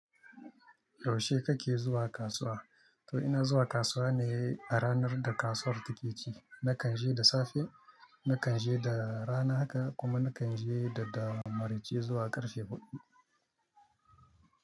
Yaushe kake zuwa kasuwa? To ina zuwa kasuwa ne a ranar da kasuwar take ci. Nakan je da safe, nakan je da rana haka kuma nakan je da dare marice zuwa ƙarfe huɗu.